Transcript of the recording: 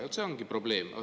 Ja see ongi probleem.